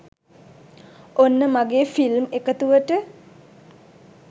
ඔන්න මගේ ‍ෆිල්ම් එකතුව‍ට